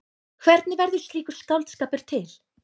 Hvernig verður slíkur skáldskapur til?